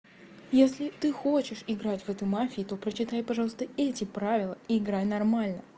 если ты хочешь играть в эту мафию то прочитай пожалуйста эти правила и играй нормально